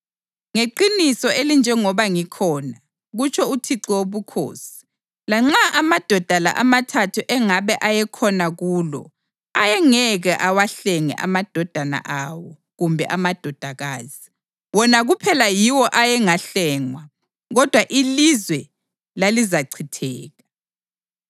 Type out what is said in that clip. ngeqiniso elinjengoba ngikhona, kutsho uThixo Wobukhosi, lanxa amadoda la amathathu engabe ayekhona kulo ayengeke awahlenge amadodana awo kumbe amadodakazi. Wona kuphela yiwo ayengahlengwa, kodwa ilizwe lalizachitheka.